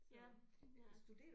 Ja ja